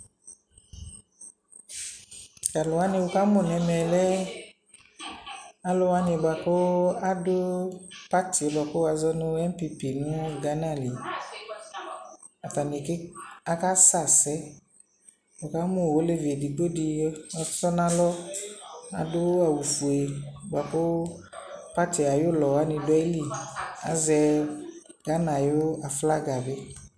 T'alʋwanɩ wʋ ka mʋ n'ɛmɛ lɛ alʋwanɩ bʋa kʋ adʋ party yɛ bua kʋ wazɔ nʋ NPP nʋ Ghana li Atani ke, aka sɛ asɛ Nɩka mʋ oievi edigbodi ɔtɔ n'alɔ, adʋ awʋ fue bʋa kʋ party ay'ʋlɔwanɩ dʋ ayili, azɛ Ghana ayʋ aflaga bɩ